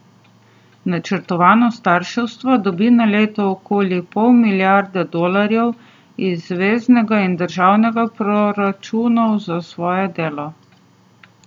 Načrtovano starševstvo dobi na leto okoli pol milijarde dolarjev iz zveznega in državnih proračunov za svoje delo.